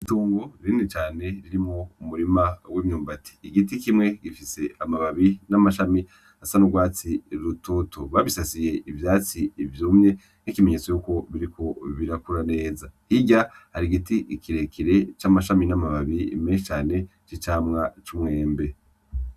Itongo rinini cane ririmwo umurima w'imyubati igiti kimwe gifis'amababi n'amashami asa n'urwatsi rutoto, babisasiye ivyatsi vyumye nk'ikimenyetso yuko biriko birakura neza hirya har'igiti kirekire c'amashami n'amababi menshi cane c'umwembe.